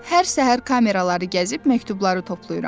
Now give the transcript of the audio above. Hər səhər kameraları gəzib məktubları toplayıram.